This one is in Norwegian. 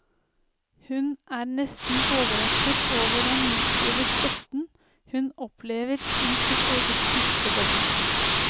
Hun er nesten overrasket over den massive støtten hun opplever i sitt eget bispedømme.